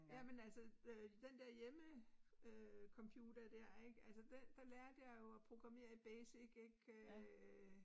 Jamen altså øh den dér hjemmecomputer dér ik altså der der lærte jeg jo at programmere i BASIC ik øh